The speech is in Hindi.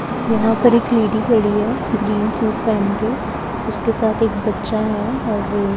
यहां पर एक लेडी खड़ी है ग्रीन सूट पहन के उसके साथ एक बच्चा है और--